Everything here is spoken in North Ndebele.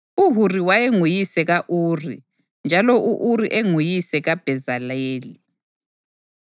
UHuri wayenguyise ka-Uri, njalo u-Uri enguyise kaBhezaleli.